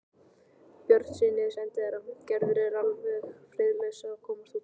Björnssyni sendiherra: Gerður er alveg friðlaus að komast út.